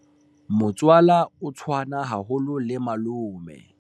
motswala o tshwana haholo le malome